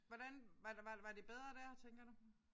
Hvordan var det var det bedre dér tænker du